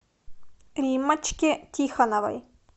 риммочке тихоновой